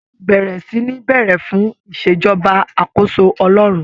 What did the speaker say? Ṣé wọ́n ti bẹ̀rẹ̀ sí ní béèrè fún ìṣèjọba àkóso Ọlọ́run?